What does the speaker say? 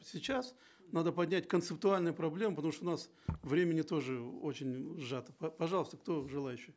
сейчас надо поднять концептуальные проблемы потому что у нас времени тоже очень сжато пожалуйста кто желающий